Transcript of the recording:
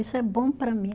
Isso é bom para mim.